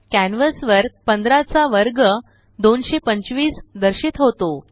canvas वर 15 चा वर्ग 225 दर्शित होतो